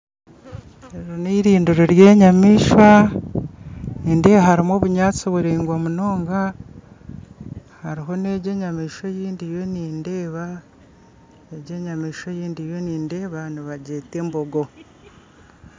Eri nirindiro ry'enyamaishwa nindeeba harumu obunyantsi buraingwa munonga hariho negyi enyamaishwa eyindiyo nindeeba egyo enyamaishwa eyindiyo nindeeba nibagyeta embogo.